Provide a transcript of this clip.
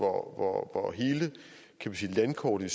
hvor hele landkortet